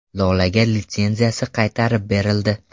Lolaga litsenziyasi qaytarib berildi.